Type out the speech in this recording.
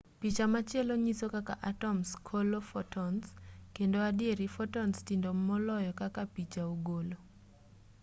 picha machielo nyiso kaka atoms kolo fotons kendo adieri fotons tindo moloyo kaka picha ogole